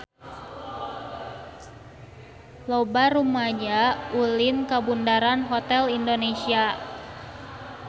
Loba rumaja ulin ka Bundaran Hotel Indonesia